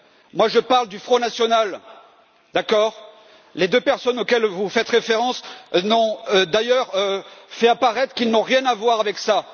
Moi, je parle du Front national, d'accord? Les deux personnes auxquelles vous faites référence ont d'ailleurs fait apparaître qu'elles n'avaient rien à voir avec ça...